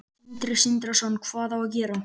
Sindri Sindrason: Hvað á að gera?